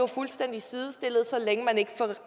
fuldstændig sidestillet så længe man ikke